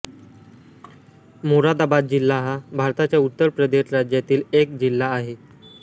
मोरादाबाद जिल्हा हा भारताच्या उत्तर प्रदेश राज्यातील एक जिल्हा आहे